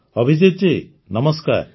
ଅଭିଜିତ ଜୀ ନମସ୍କାର